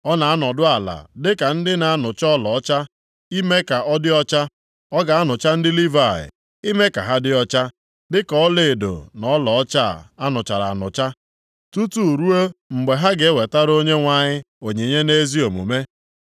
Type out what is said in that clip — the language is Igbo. Ọ na-anọdụ ala dịka ndị na-anụcha ọlaọcha ime ka ọ dị ọcha. Ọ ga-anụcha ndị Livayị, ime ka ha dị ọcha, dịka ọlaedo na ọlaọcha a nụchara anụcha tutu ruo mgbe ha ga-ewetara Onyenwe anyị onyinye nʼezi omume.